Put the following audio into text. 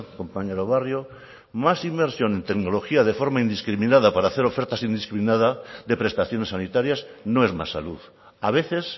compañero barrio más inversión en tecnología de forma indiscriminada para hacer ofertas indiscriminadas de prestaciones sanitarias no es más salud a veces